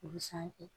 O bɛ sanfɛ